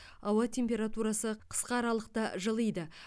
ауа температурасы қысқа аралықта жылиды